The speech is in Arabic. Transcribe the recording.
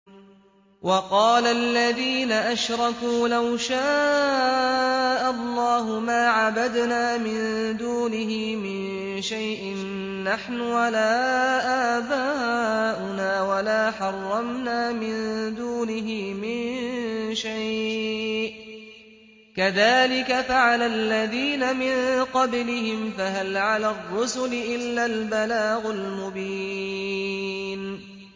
وَقَالَ الَّذِينَ أَشْرَكُوا لَوْ شَاءَ اللَّهُ مَا عَبَدْنَا مِن دُونِهِ مِن شَيْءٍ نَّحْنُ وَلَا آبَاؤُنَا وَلَا حَرَّمْنَا مِن دُونِهِ مِن شَيْءٍ ۚ كَذَٰلِكَ فَعَلَ الَّذِينَ مِن قَبْلِهِمْ ۚ فَهَلْ عَلَى الرُّسُلِ إِلَّا الْبَلَاغُ الْمُبِينُ